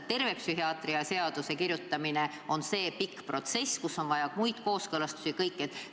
Terve psühhiaatrilise abi seaduse kirjutamine on aga pikk protsess, kus on vaja kooskõlastusi ja kõike muud.